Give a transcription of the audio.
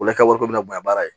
O la i ka wari bɛ minɛ baara ye